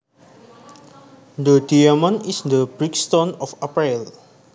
The diamond is the birthstone of April